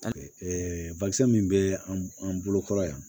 min bɛ an bolo kɔrɔ yan